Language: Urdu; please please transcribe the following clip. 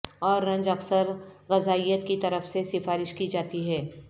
اورنج اکثر غذائیت کی طرف سے سفارش کی جاتی ہے